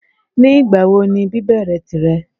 Ní ìgbàwo ni bíbèrè tìre?